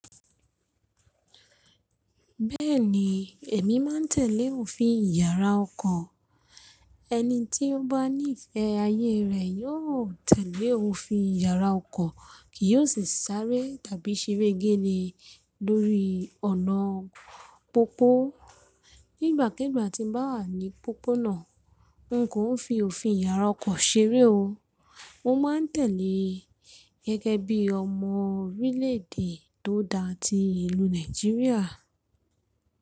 Bẹ́ẹ̀ni, èmi máa ń tẹ̀lé òfin iyàrá ọkọ̀. Ẹni tí ó bá ní ìfẹ́ ayé rẹ̀ yóò tẹ̀lé òfin iyàrá ọkọ̀, kì yóò sì sáré tàbí ṣeré géle lórí ọ̀nà pópó. Nígbà kíigbà tí mo bá wà ní pópónà, n kò ń fi òfin yàrá ọkọ̀ ṣeré o, mo máa ń tẹ̀lé gẹ́gẹ́ bí ọmọ orílè-èdè tó da ti ìlú Nàìjíríà.